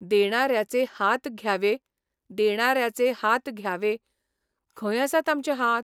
देणाऱ्याचे हात घ्यावे देणाऱ्याचे हात घ्यावे खंय आसात आमचे हात?